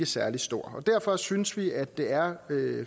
særlig stor og derfor synes vi at det er